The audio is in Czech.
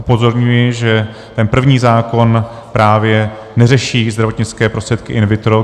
Upozorňuji, že ten první zákon právě neřeší zdravotnické prostředky in vitro.